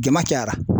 Jama cayara